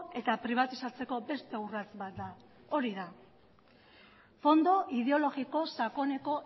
eta pribatizatzeko beste urrats bat da fondo ideologiko sakoneko